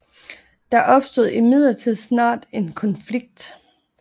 Der opstod imidlertid snart en konflikt